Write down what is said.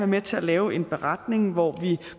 med til at lave en beretning hvor vi